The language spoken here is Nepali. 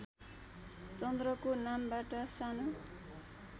चन्द्रको नामबाट सानो